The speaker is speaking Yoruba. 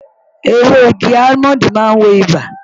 Ewé igi almond maa ń wo ibà